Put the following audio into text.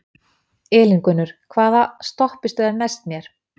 Elíngunnur, hvaða stoppistöð er næst mér?